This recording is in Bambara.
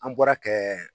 An bɔra kɛ